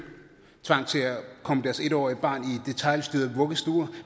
tvang til at komme deres en årige barn i en detailstyret vuggestue